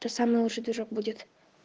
тут самый лучший движок будет